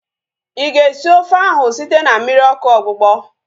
Ịga esi ofe ahu site na mmiri ọkụ ogbugbọ?